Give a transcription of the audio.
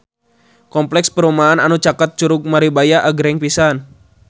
Kompleks perumahan anu caket Curug Maribaya agreng pisan